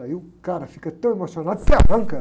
Aí o cara fica tão emocionado, se arranca.